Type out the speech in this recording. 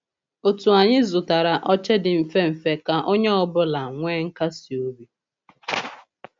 Òtù anyị zụtara oche di mfe mfe ka onye ọ bụla nwee nkasi obi.